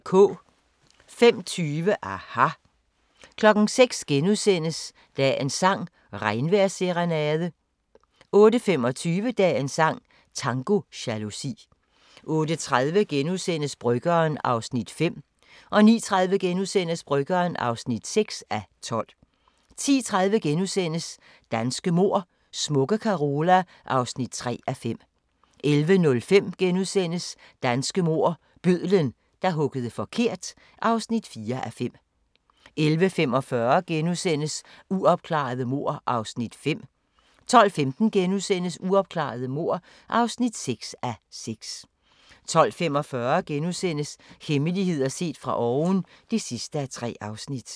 05:20: aHA! 06:00: Dagens sang: Regnvejrsserenade * 08:25: Dagens sang: Tango jalousi 08:30: Bryggeren (5:12)* 09:30: Bryggeren (6:12)* 10:30: Danske mord: Smukke Carola (3:5)* 11:05: Danske mord: Bødlen, der huggede forkert (4:5)* 11:45: Uopklarede mord (5:6)* 12:15: Uopklarede mord (6:6)* 12:45: Hemmeligheder set fra oven (3:3)*